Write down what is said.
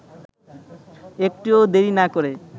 একটুও দেরি না করে